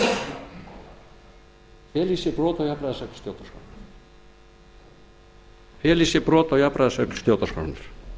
annarri málsgrein tólftu greinar feli í sér í sér brot á jafnræðisreglu stjórnarskrárinnar